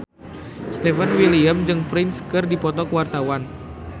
Stefan William jeung Prince keur dipoto ku wartawan